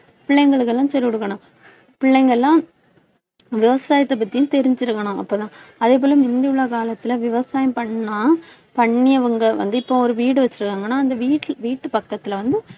பிள்ளைங்களுக்கு எல்லாம் சொல்லிக்கொடுக்கணும். பிள்ளைங்க எல்லாம் விவசாயத்தைப் பத்தியும் தெரிஞ்சிருக்கணும் அப்பதான். அதே போல முந்தி உள்ள காலத்தில விவசாயம் பண்ணா பண்ணியவங்க வந்து, இப்ப ஒரு வீடு வச்சிருக்காங்கன்னா அந்த வீட்~ வீட்டு பக்கத்தில வந்து